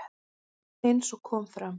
Eins og kom fram